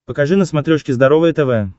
покажи на смотрешке здоровое тв